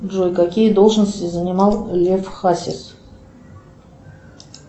джой какие должности занимал лев хасис